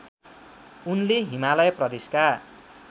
उनले हिमालय प्रदेशका